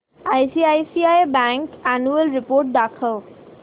ICICI bank annual report दाखव